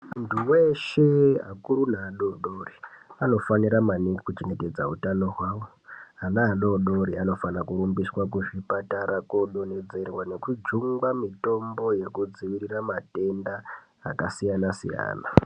Muntu weshe akuru neadodori, anofanira maningi kuchengetedza utano hwavo Ana adodori ,anofana kurumbiswa kuzvipatara koodonhedzerwa nekujungwa mitombo yekudziirira matenda, akasiyana-siyana.